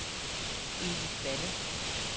Edith Balle